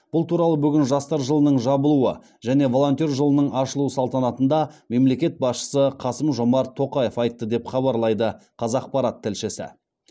бұл туралы бүгін жастар жылының жабылуы және волонтер жылының ашылуы салтанатында мемлекет басшысы қасым жомарт тоқаев айтты деп хабарлайды қазақпарат тілшісі